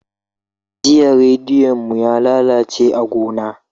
Jiya rediyo mu yalalace a gona.